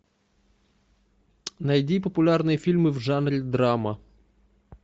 найди популярные фильмы в жанре драма